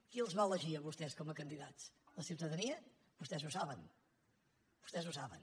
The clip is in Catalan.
qui els va elegir a vostès com a candidats la ciutadania vostès ho saben vostès ho saben